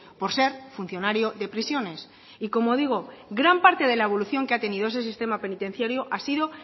por ser funcionario de prisiones y como digo gran parte de la evolución que ha tenido ese sistema penitenciario ha sido